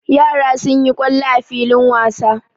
Yara sun yi kwallo a filin wasa.